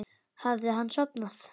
Hafði hann sofnað?